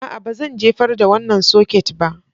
A'a, ba zan jefar da wannan soket ba